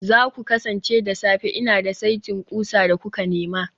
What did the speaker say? za ku kasance da safe, Ina da saitin ƙusa da kuka nema